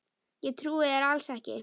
Ég trúi þér alls ekki!